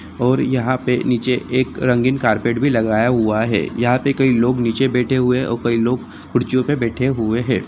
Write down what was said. और यहां पे एक रंगीन कारपेट भी लगाया हुआ है यहां पे कई लोग निचे बैठे हुए हैं और कई लोग कुर्सियां पे बैठे हुए है ।